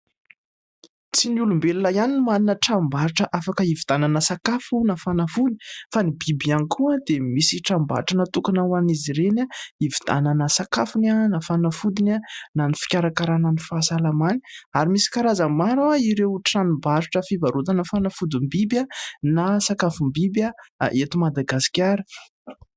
Tsy ny olombelona ihany no manana tranom-barotra afaka hividianana sakafo na fanafody ; fa ny biby ihany koa dia misy tranom-barotra natokona ho an'izy ireny hividianana sakafony, na fanafodiny, na ny fikarakarana ny fahasalamany ary misy karazany maro ireo tranom-barotra fivarotana fanafodim-biby, na sakafom-biby eto Madagasikara.